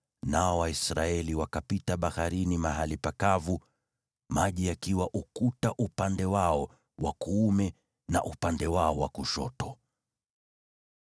nao Waisraeli wakapita baharini mahali pakavu, maji yakiwa ukuta upande wao wa kuume na upande wao wa kushoto.